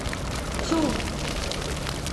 цу